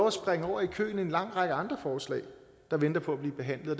at springe over i køen i en lang række andre forslag der venter på at blive behandlet og